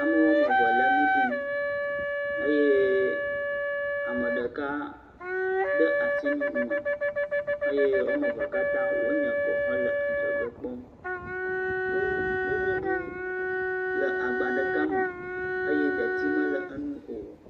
Ame woameve le nu dum, eye ameɖeka ɖe asi nu me eye woamevea katã wo nye kɔ he le adzɔge kpɔm. Nududu le agba ɖeka me eye detsi mele eŋu o.